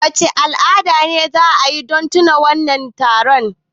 Wace al'ada ce za a yi don tunawa da wannan taron?